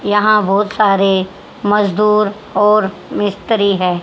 यहां बहुत सारे मजदूर और मिस्त्री है।